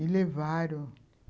E levaram...